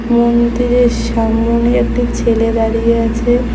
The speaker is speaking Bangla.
মন্দিরের সামোনে একটি ছেলে দাঁড়িয়ে আছে।